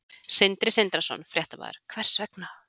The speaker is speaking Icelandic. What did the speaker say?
Sindri Sindrason, fréttamaður: Hvers vegna?